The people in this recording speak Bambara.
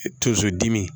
Tonso dimi